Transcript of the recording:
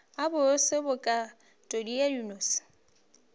a bose bokatodi ya dinose